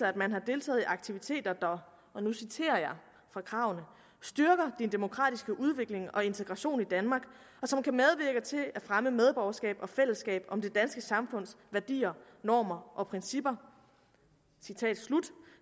at man har deltaget i aktiviteter der og nu citerer jeg fra kravene styrker din demokratiske udvikling og integration i danmark og som kan medvirke til at fremme medborgerskab og fællesskab om det danske samfunds værdier normer og principper